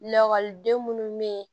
Lakɔliden munnu be ye